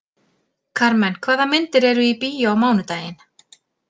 Karmen, hvaða myndir eru í bíó á mánudaginn?